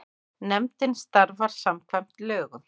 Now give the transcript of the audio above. Nefndin starfar samkvæmt lögum.